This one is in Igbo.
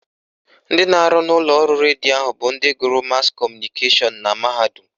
Ndị na-arụ n'ụlọọrụ redio ahụ bụ ndị gụrụ mas kọmụnikeshọn na mahadum